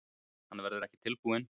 Hann verður ekki tilbúinn